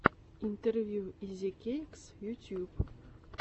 интервью изикэйкс ютьюб